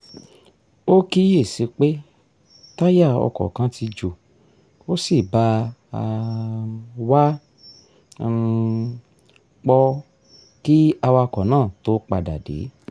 ó kíyè sí pé táyà ọkọ̀ kan ti jò ó sì bá um wa um pọ́ọ kí awakọ̀ náà tó padà dé